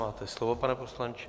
Máte slovo, pane poslanče.